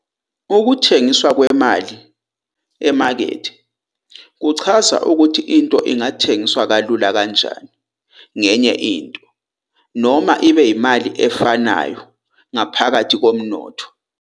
"Ukuthengiswa kwemali emakethe" kuchaza ukuthi into ingathengiswa kalula kanjani ngenye into, noma ibe yimali efanayo ngaphakathi komnotho.